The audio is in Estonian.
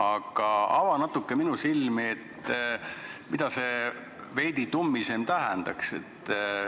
Aga ava natuke minu silmi, mida see veidi tummisem tähendaks.